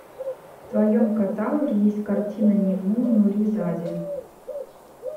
в твоем каталоге есть картина ниму нуризаде